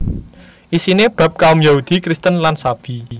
Isiné bab kaum Yahudi Kristen lan Sabi